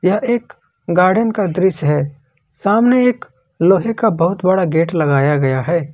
यह एक गार्डन का दृश्य है सामने एक लोहे का बहुत बड़ा गेट लगाया गया है।